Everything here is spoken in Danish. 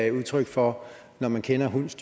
et udtryk for når man kender hundes